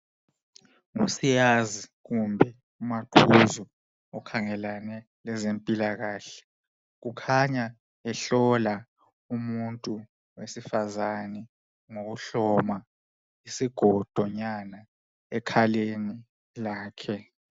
ngu siyazi kumbe umaqhuzu okhangela ngeze mpilakahle ukhanya ehlola umuntu wesifazane ngokuhloma isigodonyana ekhaleni lakhe